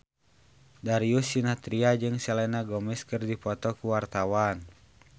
Darius Sinathrya jeung Selena Gomez keur dipoto ku wartawan